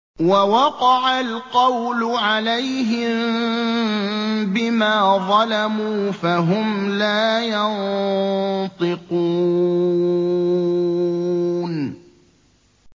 وَوَقَعَ الْقَوْلُ عَلَيْهِم بِمَا ظَلَمُوا فَهُمْ لَا يَنطِقُونَ